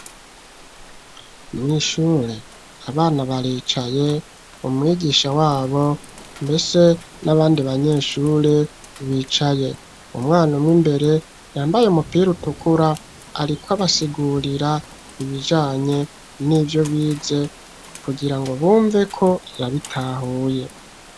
Mw'ishure abana baricaye, umwigisha wabo mbese n'abandi banyeshure bicaye, umwana umwe imbere yambaye umupira utukura ariko abasigurira ibijanye n'ivyo bize, kugira ngo bumveko yabitahuye.